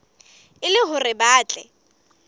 e le hore ba tle